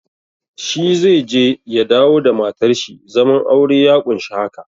Shi zai je ya dawo da matar shi, zaman aure ya ƙunshi haka.